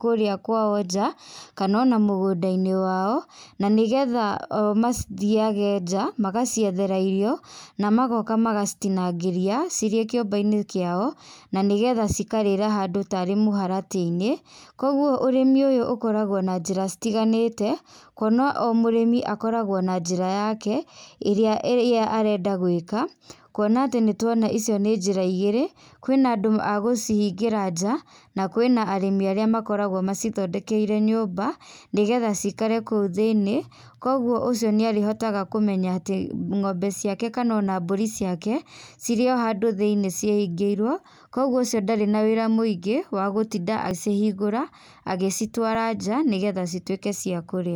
kũrĩa kwao nja kana ona mũgũnda-inĩ wao, na nĩgetha o mathiage nja magaciethera irio, na magoka magacitinangĩria cirĩ o kĩumba-inĩ kiao, na nĩgetha cikarĩĩra handũ tarĩ mũharatĩini. Kwoguo ũrĩmi ũyũ ũkoragwo na njĩra citiganĩte, kuona o mũrĩmi akoragwo na njĩra yake ĩrĩa arenda gwĩka. Kuona atĩ nĩ tuona icio nĩ njĩra igĩrĩ; kwĩna andũ a gucihingĩra nja na kwĩna arĩmi arĩa makoragwo macithondekeire nyũmba nĩgetha cikare kũu thĩinĩ. Kwoguo ũcio nĩ arĩhotaga kũmenya atĩ ng'ombe ciake kana ona mbũri ciake cirĩ o handũ thĩinĩ cihingĩirwo. Kwoguo ucio ndarĩ na wĩra mũingĩ, wa gũtinda agĩcihingũra, agĩcitũara nja, nĩgetha cituĩke cia kũrĩa.